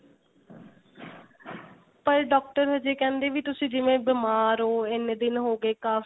ਪਰ doctor ਹਜੇ ਕਹਿੰਦੇ ਵੀ ਤੁਸੀਂ ਜਿਵੇਂ ਬੀਮਾਰ ਓ ਇੰਨੇ ਦਿਨ ਹੋਗੇ